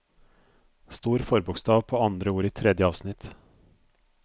Stor forbokstav på andre ord i tredje avsnitt